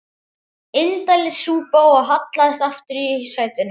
Indælis súpa og hallaðist aftur í sætinu.